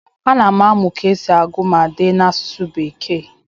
ana m amụ ka esi agụ ma dee n'asụsụ bekee